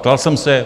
Ptal jsem se.